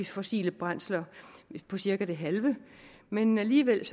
fossile brændsler på cirka det halve men alligevel